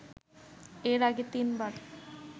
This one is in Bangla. এর আগে তিনবার